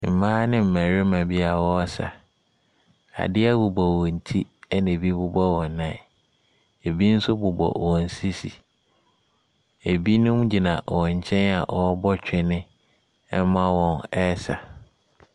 Mmaa ne mmarima bia ɔresa. Adeɛ bobɔ wɔnti ɛna ebi bobɔ wɔn nan. Ebi nso bobɔ wɔn sisi. ebinom gyina wɔnkyɛn a ɔrebɔ twene ɛma wɔn ɛɛsa.